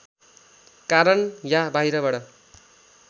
कारण या बाहिरबाट